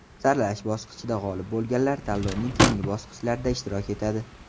Saralash bosqichida g‘olib bo‘lganlar tanlovning keyingi bosqichlarida ishtirok etadi.